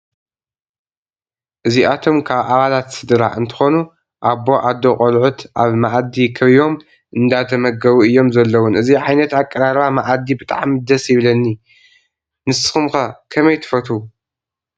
እዚኣቶም ካብ ኣባላት ስድራ እንትከኑ ኣቦ ኣዶ ቆልዑት ኣብ መኣዲ ከቢቦም እንዳተመገቡ እዮም ዘለውን እዚ ዓይነት ኣቀራርባ ማኣዲ ብጣዕሚ ደስ ይብለኒ ንድኩም ከ ከመይ ትፈትው?